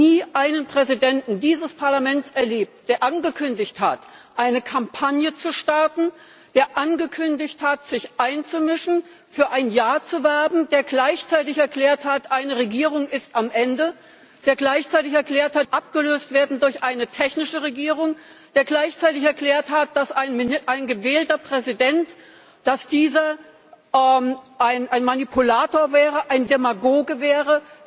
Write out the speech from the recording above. Ich habe nie einen Präsidenten dieses Parlaments erlebt, der angekündigt hat, eine Kampagne zu starten, der angekündigt hat, sich einzumischen, für ein Ja zu werben, der gleichzeitig erklärt hat, eine Regierung ist am Ende, der gleichzeitig erklärt hat, diese Regierung muss abgelöst werden durch eine technische Regierung, der gleichzeitig erklärt hat, dass ein gewählter Präsident ein Manipulator, ein Demagoge wäre.